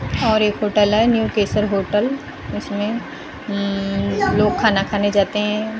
और एक होटल है न्यू केसर होटल उसमें उम्म लोग खाना खाने जाते हैं।